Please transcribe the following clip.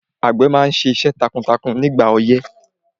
Àgbẹ̀ máa ṣiṣẹ́ takuntakun ní ìgbà ọyẹ́